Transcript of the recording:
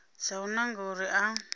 dza u nanga uri a